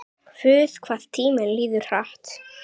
Guð, hvað tíminn líður hratt.